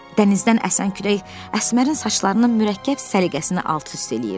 Dənizdən əsən külək Əsmərin saçlarının mürəkkəb səliqəsini alt-üst eləyirdi.